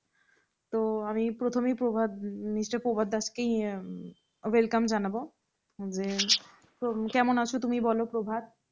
তো আমি প্রথমেই প্রভাত কে প্রভাত দাস কে এই welcome জানাব যে তুমি কেমন আছো তুমি বলো প্রভাত?